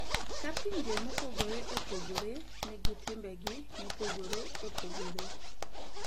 Ka pinje mopogore opogore nigi timbegi mopogore opogore,